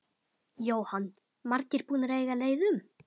Jóhann: Margir búnir að eiga leið um?